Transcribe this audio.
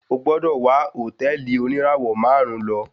O gbọ́dọ̀ wá hòtẹ́ẹ̀lì oníràwọ̀ máàrún lo.